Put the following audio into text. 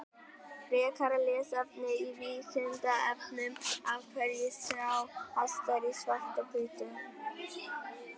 Frekara lesefni á Vísindavefnum Af hverju sjá hestar í svart-hvítu?